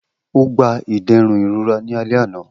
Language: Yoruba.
O gba iderun irora ni alẹ ana.